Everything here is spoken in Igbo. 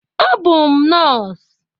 Abụ m nọs.